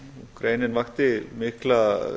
greinin vakti mikla